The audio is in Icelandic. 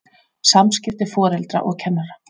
SAMSKIPTI FORELDRA OG KENNARA